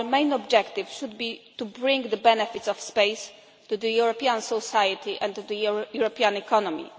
Our main objective should be to bring the benefits of space to European society and to the European economy.